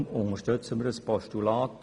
Darum unterstützen wir das Postulat.